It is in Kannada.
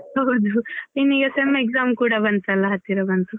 ಹೌದು ಇನ್ ಈಗ sem exam ಕೂಡ ಬಂತಲ್ಲ ಹತ್ತಿರ ಬಂತು.